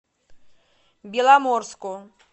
беломорску